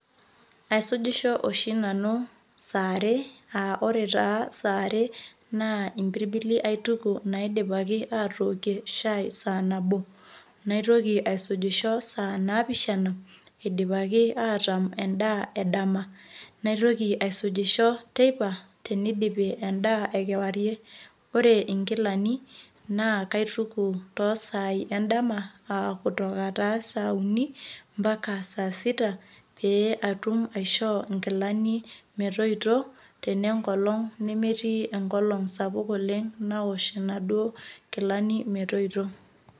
Asujisho nanu saa are aa ore saa are naa impirbili aituku naidipaki aatookie shaai saa nabo naitoki aisujisho saa naapishana edipaki ataam endaa edama naitoki aisujisho teipa tenidipi endaa ekewarie. Ore nkilani naa kaituku toosaai endama aa kutoka saa uni mpaka saa sita pee atumaishoo nkilani metoyito enemetii enkolong' sapuk oleng' nawosh inaduoo kilani metoyito.